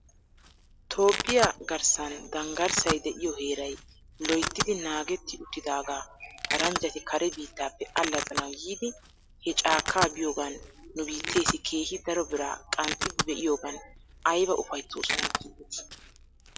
Toophphiyaa garssan danggarssay de'iyoo heeray loyttidi naagetti uttidaagaa paranjjati kare biittappe allaxxanaw yiidi he caakkaa biyoogan nu biitteesi keehi daro biraa qanxxidi be'iyoogan ayba ufayttoosona giidetii?